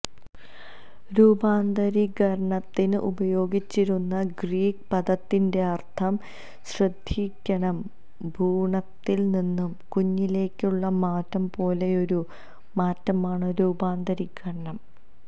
രൂപാന്തരീകരണത്തിന് ഉപയോഗിച്ചിരുന്ന ഗ്രീക്ക് പദത്തിന്റെയർത്ഥം ശ്രദ്ധിക്കണം ഭ്രൂണത്തിൽ നിന്ന് കുഞ്ഞിലേയ്ക്കുള്ള മാറ്റം പോലെയൊരു മാറ്റമാണ് രൂപാന്തരീകരണം